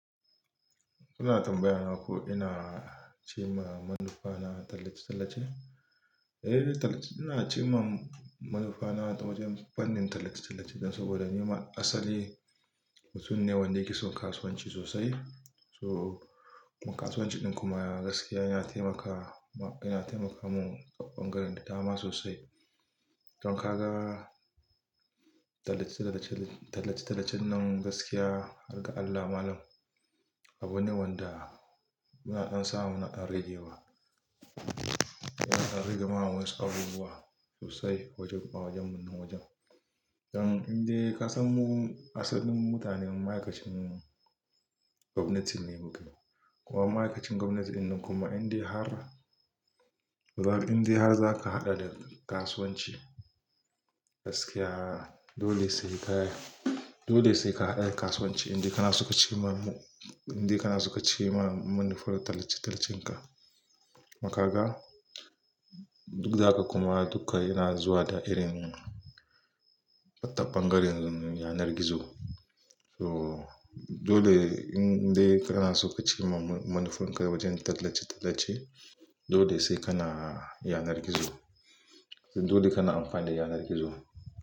Ina tambayawa ko ina ci ma manufa na tallace-tallace? Eh, tallace-- ina ci ma manufa na wajen fannin tallace-tallace dan saboda ni ma asali mutum ne wanda yake son kasuwanci sosai. To, in kasuwanci ɗin kuma gaskiya yana taimaka, yana taimaka mu taɓangaren da dama sosai. Don kaga tallace-tallace, tallace-tallacen nan gaskiya, har Allah malam, abu ne wanda muna dan samu muna dan ragewa. Yana dab mana ragewa wasu abubuwa sosai wajen, ma wajen wajen. Dan indai ka san mu asalin mutanen ma'aikacin gwamnati ne mu ke. Kuma ma'aikacin gwamnati ɗin kuma indai har, indai har zaka haɗa da kasuwanci gaskiya, dole sai ka, dole sai ka haɗa da kasuwanci indai kana soka ci ma, indai kana soka ci ma manufar tallace-tallacen ka. Kuma ga, duk da haka kuma dukka yana zuwa da irin tabangaren yanar gizo. So, dole indai kana suka ci ma manufar ka wajen tallace-tallace, dole sai kana yanar gizo. Dole kana amfani da yanar gizo.